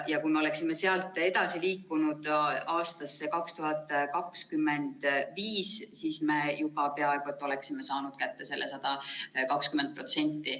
Ja kui me oleksime sealt edasi liikunud aastasse 2025, siis me juba peaaegu oleksime saanud kätte selle 120%.